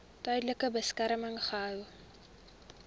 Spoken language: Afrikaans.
tydelike beskerming gehou